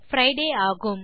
பிரிடே ஆகும்